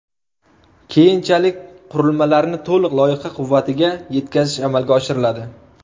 Keyinchalik qurilmalarni to‘liq loyiha quvvatiga yetkazish amalga oshiriladi.